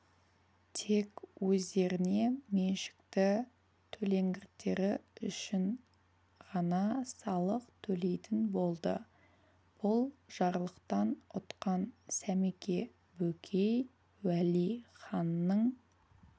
тек өздеріне меншікті төлеңгіттері үшін ғана салық төлейтін болды бұл жарлықтан ұтқан сәмеке бөкей уәли ханның